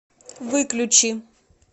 выключи